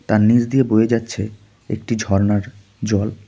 তার নিচ দিয়ে বয়ে যাচ্ছে একটি ঝর্ণার জল.